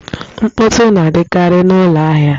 Mkpọtụ na-adịkari n'ụlọ ahịa